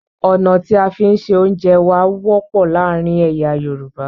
Ọ̀nà tí a fi ń ṣẹ oúnjẹ wà wọ́pọ̀ láàárín èyà Yorùbá